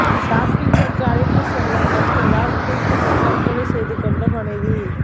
ஷாப்பிங்கிற்கு அழைத்து செல்ல மறுத்ததால் தூக்கிட்டு தற்கொலை செய்து கொண்ட மனைவி